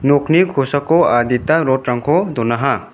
nokni kosako adita rod-rangko donaha.